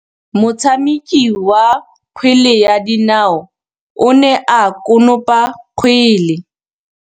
Motshameki wa kgwele ya dinaô o ne a konopa kgwele.